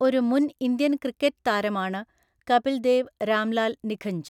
ഒരു മുൻ Indian cricket താരമാണ് കപിൽ ദേവ് രാംലാൽ നിഖഞ്ച്.